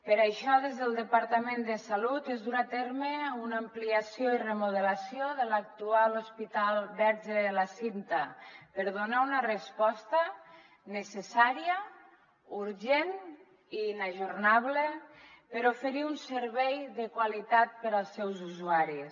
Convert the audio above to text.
per això des del departament de salut es durà a terme una ampliació i remodelació de l’actual hospital verge de la cinta per donar una resposta necessà·ria urgent i inajornable per oferir un servei de qualitat als seus usuaris